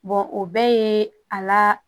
o bɛɛ ye a la